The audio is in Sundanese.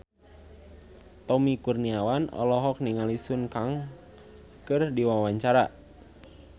Tommy Kurniawan olohok ningali Sun Kang keur diwawancara